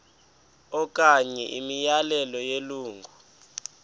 okanye imiyalelo yelungu